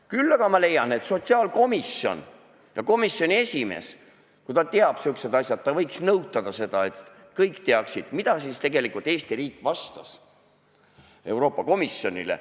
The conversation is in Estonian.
Küll aga ma leian, et sotsiaalkomisjon ja komisjoni esimees, kui ta teab sihukesi asju, ta võiks nõutada seda, et kõik teaksid, mida siis tegelikult Eesti riik vastas Euroopa Komisjonile.